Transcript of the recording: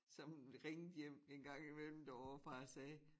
Som ringede hjem en gang i mellem derovre fra og sagde